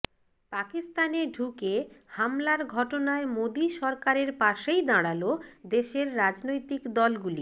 পাকিস্তানে ঢুকে হামলার ঘটনায় মোদি সরকারের পাশেই দাঁড়াল দেশের রাজনৈতিক দলগুলি